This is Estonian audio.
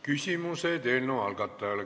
Küsimused eelnõu algatajale.